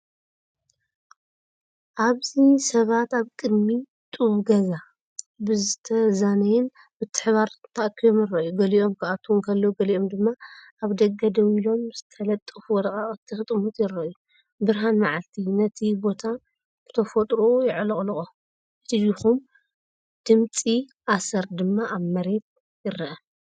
ኣብዚ ሰባት ኣብ ቅድሚ ጡብ ገዛ ብዝተዛነየን ምትሕብባርን ተኣኪቦም ይረኣዩ። ገሊኦም ክኣትዉ እንከለዉ ገሊኦም ድማ ኣብ ደገ ደው ኢሎም ዝተለጠፉ ወረቓቕቲ ክጥምቱ ይረኣዩ። ብርሃን መዓልቲ ነቲ ቦታ ብተፈጥሮኡ የዕለቕልቖ፣ እቲ ድኹም ድምጺ ኣሰር ድማ ኣብ መሬት ይርአ።